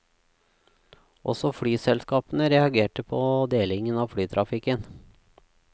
Også flyselskapene reagerte på delingen av flytrafikken.